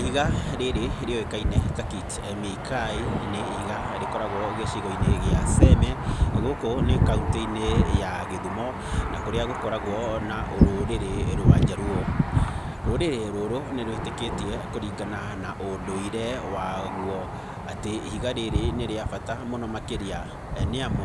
Ihiga rĩrĩ rĩũĩkaine ta Kit Mikayi nĩ ihiga rĩkoragwo gĩcigo-inĩ gĩa Seme gũkũ nĩ kauntĩ-inĩ ya Gĩthumo na kũríĩ gũkoragwo na rũrĩrĩ rwa jaluo. Rũrĩrĩ rũrũ nĩ rwĩtĩkĩtie kũringana na ũndũire waguo atĩ ihiga rĩrĩ nĩ rĩa bata mũno makĩria, nĩamu